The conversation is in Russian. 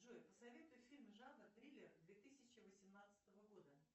джой посоветуй фильмы жанра триллер две тысячи восемнадцатого года